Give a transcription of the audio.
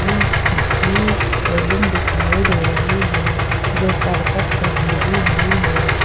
की रेलिंग दिखाई दे रही है जो करकट से घेरी हुई है।